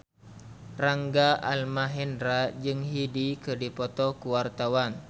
Rangga Almahendra jeung Hyde keur dipoto ku wartawan